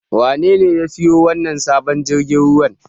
Wanene ya siyo wannan sabon jirgin ruwan?